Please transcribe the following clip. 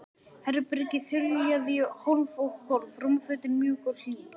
Herbergið þiljað í hólf og gólf, rúmfötin mjúk og hlý.